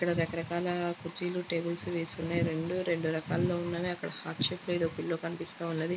ఇక్కడ రకరకాల కుర్చీలు టేబల్స్ వేసి ఉన్నాయి రెండూ రెండు రకాలలుగా ఉన్నవి అక్కడ హార్ట్ షేప్ లో ఒక పిల్లో కనిపిస్తున్నది.